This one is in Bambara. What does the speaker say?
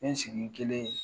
N bɛ n sigi kelen